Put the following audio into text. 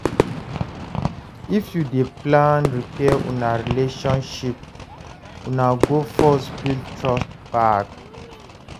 If you dey plan repair una relationship, una go first build trust back.